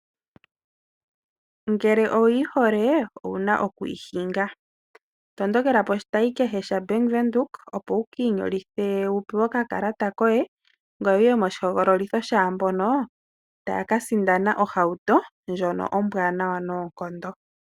Ngele owuyi hole owuna okuyi hinga! Matukila poshitayi kehe sha Bank widhoek opo wuki inyolithe wupewe okakalata koye ngoye wuye moshi hogololitho shaambono taya ka sindana ohauto ndjono ombwanawa noonkondo.